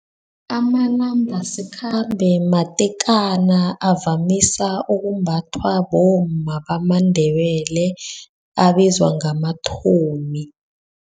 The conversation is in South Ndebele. Amanambasikhambe matekana, avamisa ukumbathwa bomma bamaNdebele abizwa ngamathomi.